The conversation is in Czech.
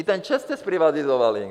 I ten ČEZ jste zprivatizovali!